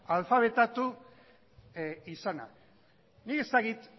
alfabetatu izana nik ez dakit